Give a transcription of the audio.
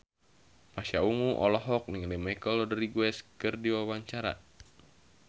Pasha Ungu olohok ningali Michelle Rodriguez keur diwawancara